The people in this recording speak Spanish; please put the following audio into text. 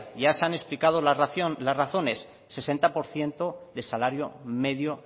ya se han explicado las razones sesenta por ciento de salario medio